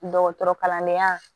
Dɔgɔtɔrɔ kalandenya